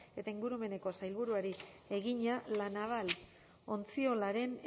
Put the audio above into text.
eta ingurumeneko sailburuari egina la naval ontziolaren